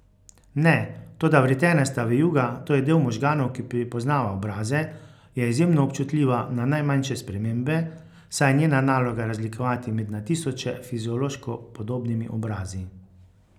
Ne, toda vretenasta vijuga, to je del možganov, ki prepoznava obraze, je izjemno občutljiva na najmanjše spremembe, saj je njena naloga razlikovati med na tisoče fiziološko podobnimi obrazi.